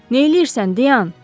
Neyləyirsən, dayan!